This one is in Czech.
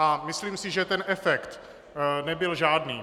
A myslím si, že ten efekt nebyl žádný.